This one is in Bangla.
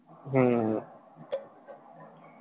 হম